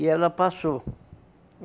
E ela passou.